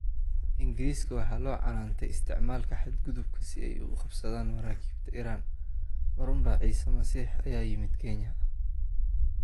Ingiriiska waxaa loo canaantay isticmaalka ''xadgudubka'' si ay u qabsadaan maraakiibta Iran. Ma runbaa 'Ciise Masiix' ayaa yimid Kenya?